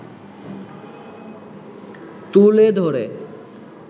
তুলে ধরে